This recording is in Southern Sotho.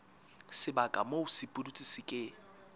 sebaka moo sepudutsi se ke